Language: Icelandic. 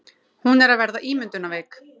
Hún er að verða ímyndunarveik.